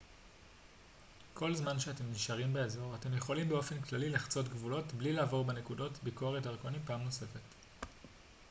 כל זמן שאתם נשארים באזור אתם יכולים באופן כללי לחצות גבולות בלי לעבור בנקודות ביקורת דרכונים פעם נוספת